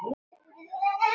Og bauðstu honum ekki inn?